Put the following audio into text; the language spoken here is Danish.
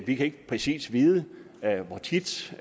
vi kan ikke præcis vide hvor tit